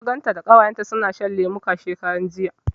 Na ganta da ita da Ƙawayenta suna shan lemuka, shekaran jiya.